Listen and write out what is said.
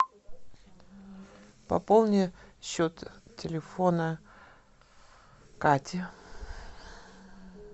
пополни счет телефона кати